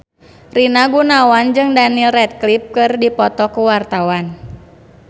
Rina Gunawan jeung Daniel Radcliffe keur dipoto ku wartawan